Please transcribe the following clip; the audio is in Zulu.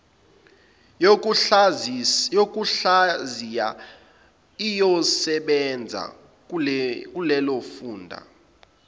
yokuhlaziya iyosebenza kulezofunda